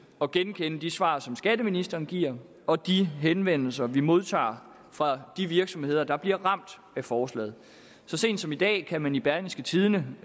at genkende de svar som skatteministeren giver og de henvendelser vi modtager fra de virksomheder der bliver ramt af forslaget så sent som i dag kan man i berlingske tidende